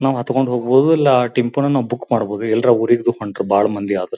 ನಾವು ಹತ್ಕೊಂಡ್ ಹೋಗ್ಬೊದು ಲ್ಲಾ ಆ ಟೆಂಪುನ ಬುಕ್ ಮಾಡ್ಬೊದು ಎಲ್ರ ಊರಿಗ್ದು ಹೊಂಟ್ರ ಬಾಳ ಮಂದಿ ಆದ್ರೆ.